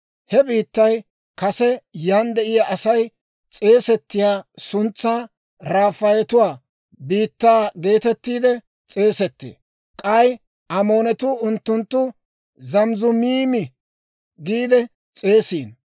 «(He biittay kase yan de'iyaa Asay s'eesettiyaa suntsan Rafaayetuwaa biittaa geetettiide s'eesettee. K'ay Amoonatuu unttuntta Zamizumiimi giide s'eesiino.